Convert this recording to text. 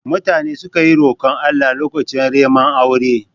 Mutane sukan yi rokon Allah lokacin reman aure